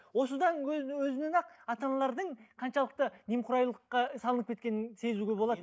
осыдан өзі өзінен ақ ата аналардың қаншалықты немқұрайлылыққа салынып кеткенін сезуге болады